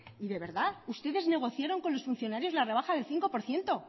y de verdad ustedes negociaron con los funcionarios la rebaja del cinco por ciento